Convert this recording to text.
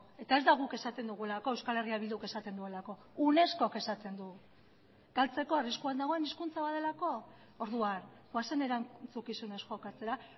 eta ez da guk esaten dugulako euskal herria bilduk esaten duelako unescok esaten du galtzeko arriskuan dagoen hizkuntza bat delako orduan goazen erantzukizunez jokatzera